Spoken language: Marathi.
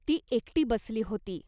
ती एकटी बसली होती.